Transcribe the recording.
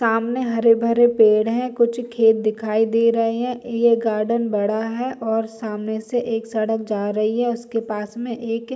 सामने हरे-भरे पेड़ है कुछ खेत दिखाई दे रहे है ये गार्डन बडा है और सामने से एक सड़क जा रही है उसके पास में एक --